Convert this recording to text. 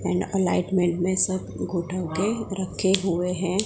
इ इंलाइटमेंट मे सब घु ढाके रखे हुए है।